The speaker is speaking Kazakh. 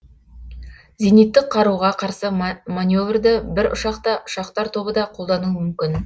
зениттік қаруга карсы маневрді бір ұшақ та ұшақтар тобы да қолдануы мүмкін